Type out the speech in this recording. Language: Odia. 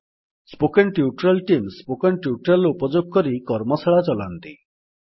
spoken tutorial team spoken tutorial ର ଉପଯୋଗ କରି କର୍ମଶାଳା ଚଲାନ୍ତି